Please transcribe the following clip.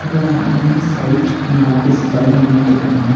இது ஒரு அழகான சைட் இங்க ஆஃபிசர்ஸ் எல்லா நின்னுட்டிருக்காங்க.